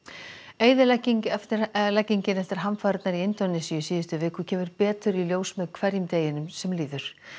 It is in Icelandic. eyðileggingin eftir eyðileggingin eftir hamfarirnar í Indónesíu í síðustu viku kemur betur í ljós með hverjum deginum sem líður